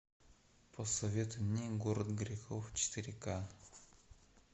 посоветуй мне город грехов четыре ка